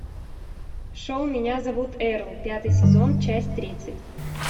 шоу меня зовут эрл пятый сезон часть тридцать